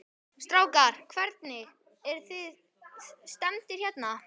Strákar, hvernig, eruð þið stemmdir hérna?